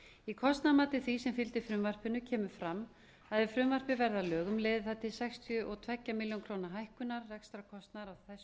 í kostnaðarmati því sem fylgdi frumvarpinu kemur fram að ef frumvarpið verði að lögum leiði það til sextíu og tvær milljónir króna hækkunar rekstrarkostnaðar á þessu sviði dómsmálaráðuneytisins